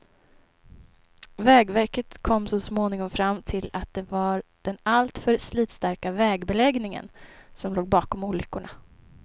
Vägverket kom så småningom fram till att det var den alltför slitstarka vägbeläggningen som låg bakom olyckorna.